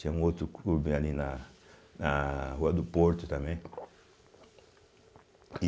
Tinha um outro clube ali na na Rua do Porto também (engolindo saliva).